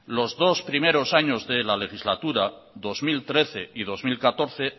los dos primeros años de la legislatura dos mil trece y dos mil catorce